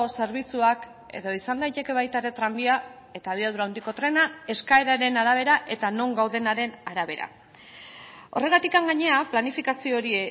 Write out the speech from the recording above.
zerbitzuak edo izan daiteke baita ere tranbia eta abiadura handiko trena eskaeraren arabera eta non gaudenaren arabera horregatik gainera planifikazio hori